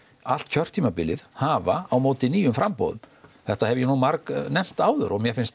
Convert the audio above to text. allt kjörtímabilið hafa á móti nýjum framboðum þetta hef ég nú margnefnt áður og mér finnst